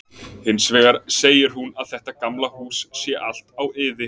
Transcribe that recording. Hins vegar segir hún að þetta gamla hús sé allt á iði.